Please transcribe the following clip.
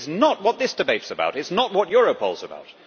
That is not what this debate about. It is not what Europol is about.